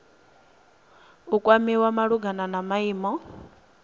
u kwamiwa malugana na maimo